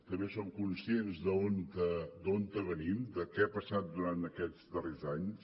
també som conscients d’on venim de què ha passat durant aquests darrers anys